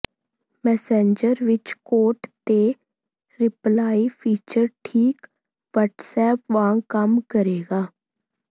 Messenger ਵਿੱਚ quote ਤੇ reply feature ਠੀਕ ਵ੍ਹੱਟਸਐਪ ਵਾਂਗ ਕੰਮ ਕਰੇਗਾ